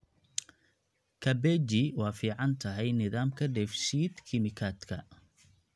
Kabeji waa fiican tahay nidaamka dheef-shiid kiimikaadka.